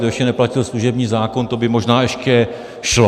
To ještě neplatil služební zákon, to by možná ještě šlo.